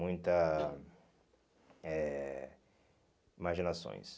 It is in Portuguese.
Muita eh imaginações.